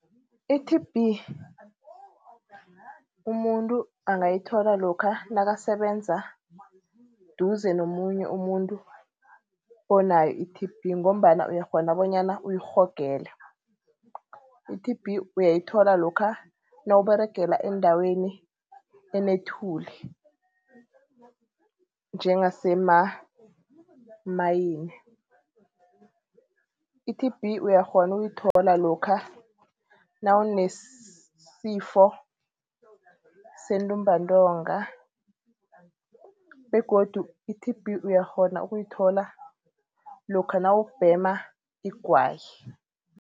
I-T_B umuntu angayithola lokha nakasebenza eduze nomunye umuntu onayo i-T_B ngombana uyakghona bonyana uyirhogele. I-T_B uyayithola lokha nawUberegelaa endaweni enethuli njengasemamayini. I-T_B uyakghona ukuyithola lokha nawunesifo sentumbantonga begodu i-T_B uyakghona ukuyithola lokha nawubhema igwayi.